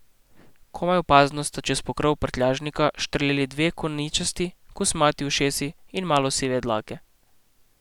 Komaj opazno sta čez pokrov prtljažnika štrleli dve koničasti, kosmati ušesi in malo sive dlake.